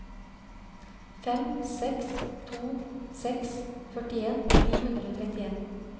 fem seks to seks førtien ni hundre og trettien